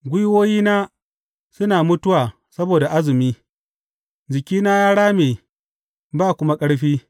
Gwiwoyina suna mutuwa saboda azumi; jikina ya rame ba kuma ƙarfi.